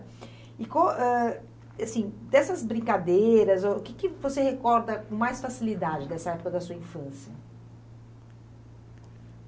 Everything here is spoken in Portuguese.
E qual, ãh, assim dessas brincadeiras, o que que você recorda com mais facilidade dessa época da sua infância?